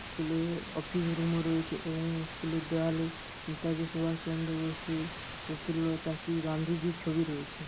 School এর office রুমে এ রয়েছে এবং স্কুলের দেয়ালে নেতাজি সুভাষচন্দ্র বসু প্রফুল্ল চাকী গান্ধীজির ছবি রয়েছে।